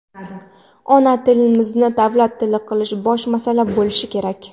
Ona tilimizni davlat tili qilish bosh masala bo‘lishi kerak.